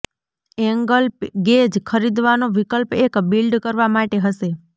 angle gauge ખરીદવાનો વિકલ્પ એક બિલ્ડ કરવા માટે હશે